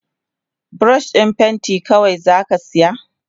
Burosh din pentin kawai zaka siya?